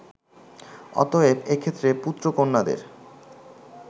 অতএব এক্ষেত্রে পুত্র-কন্যাদের